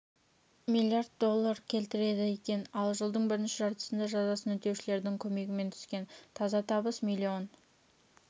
миллиард доллар кетіреді екен ал жылдың бірінші жартысында жазасын өтеушілердің көмегімен түскен таза табыс миллион